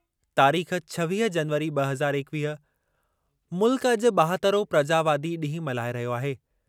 तारीख़ छवीह जनवरी ब॒ हज़ार एकवीह मुल्क अॼु ॿाहतरहों प्रजावादी ॾींहुं मल्हाए रहियो आहे।